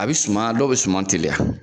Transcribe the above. A bi suman dɔw bi suman teliya